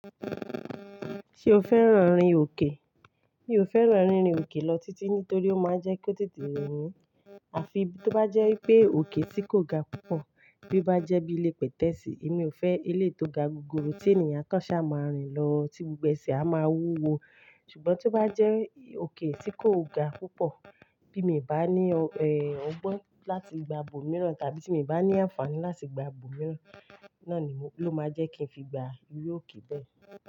Ṣé o fẹ́ràn orin òkè? Mi ò fẹ́ràn orin òkè lọ títí nítorí ó máa ń jẹ́ kí ó tètè rìn mí, àfi bí tó bá jẹ́ pé òkè tí kò ga púpọ̀ bí bá jẹ́ bí ilé pẹ̀tẹ́sí. Èmi ò fẹ́ ilé tó ga gogoro tí ènìyàn kan ṣà máa rìn lọ, tí gbogbo ẹsẹ̀ á máa wúwo. Ṣùgbọ́n tó bá jẹ́ òkè tí kò ga púpọ̀ bí mi bá ní, ẹ́, ọgbọ́n láti gbàbò mìíràn tàbí tí mo bá ní àǹfààní láti gbàbò mìíràn, náà ni ló máa jẹ́ kí n fi gbà irú òkè bẹ́ẹ̀